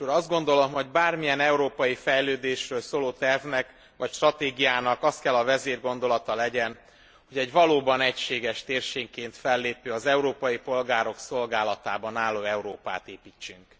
Biztos úr! Azt gondolom, hogy bármilyen európai fejlődésről szóló tervnek vagy stratégiának azt kell a vezérgondolata legyen, hogy egy valóban egységes térségként fellépő, az európai polgárok szolgálatában álló Európát építsünk.